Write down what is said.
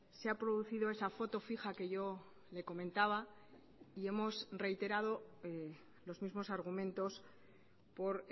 se ha producido esa foto fija que yo le comentaba y hemos reiterado los mismos argumentos por